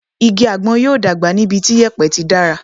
Igi àgbọn yóò dàgbà ní ibi tí yèpẹ̀ tí dára.